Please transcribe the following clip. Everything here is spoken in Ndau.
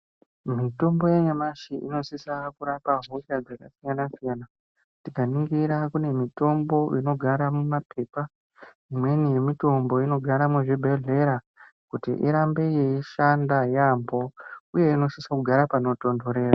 Mitombo yanyamashi inosisa kurapa hosha dzaka siyana siyana tinganingira kune mitombo inogara muma phepha imweni yemitombo inogare muzvibhedhlera kuti irambe yeishanda yeyambo uye inosise kugara pano tondonderera.